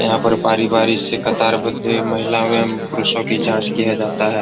यहां पर बारी-बारी से कतारबद्ध महिला एवं पुरुषों की जांच किए जाते हैं।